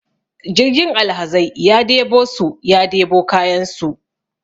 jirgin alhazai ya debo su ya debo kayansu